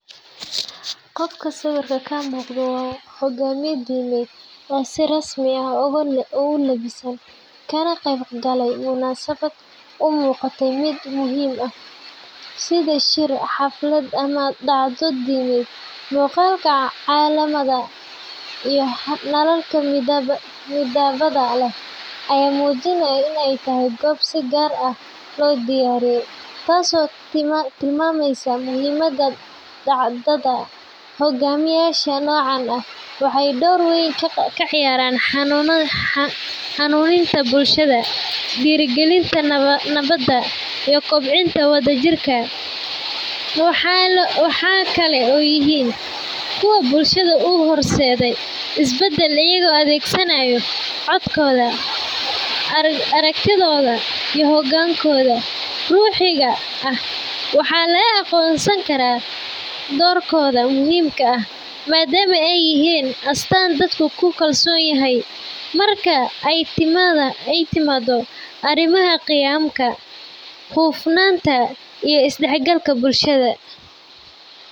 Qofka sawirka ka muuqda waa hogaamiye diimeed oo si rasmi ah ugu labisan, kana qeybgalaya munaasabad u muuqata mid muhiim ah, sida shir, xaflad ama dhacdo diimeed. Muuqaalka calamada iyo nalalka midabbada leh ayaa muujinaya in ay tahay goob si gaar ah loo diyaariyey, taas oo tilmaamaysa muhiimadda dhacdada. Hogaamiyaasha noocan ah waxay door weyn ka ciyaaraan hanuuninta bulshada, dhiirrigelinta nabadda, iyo kobcinta wadajirka. Waxay kaloo yihiin kuwo bulshada u horseeda isbeddel, iyagoo adeegsanaya codkooda, aragtidooda iyo hogaankooda ruuxiga ah. Waxaa la aqoonsan karaa doorkooda muhiimka ah maadaama ay yihiin astaan dadku ku kalsoon yahay marka ay timaado arrimaha qiyamka, hufnaanta, iyo isdhexgalka bulshada.